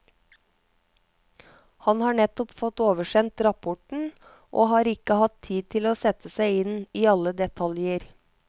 Han har nettopp fått oversendt rapporten, og har ikke hatt tid til å sette seg inn i alle detaljer.